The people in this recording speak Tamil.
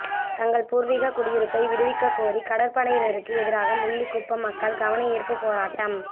தங்கள் பூர்வீக குடியிருப்பை விடுவிக்கக்கோரி கடற்படையினருக்கு எதிராக முள்ளிக்குளம் மக்கள் கவனயீர்ப்பு போராட்டம்